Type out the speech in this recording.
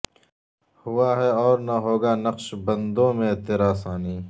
ہوا ہے اور نہ ہوگا نقشبندوں میں تیرا ثانی